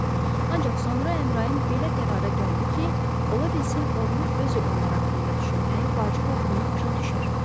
Ancaq sonra Əmrayın belə qərara gəldi ki, olabilsin oğlu özü onlar haqqında düşünməyi vacib olduğunu başa düşər.